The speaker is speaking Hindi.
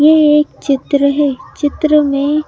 ये एक चित्र है चित्र में--